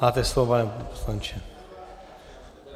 Máte slovo, pane poslanče.